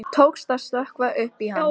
Tókst að stökkva upp í hann.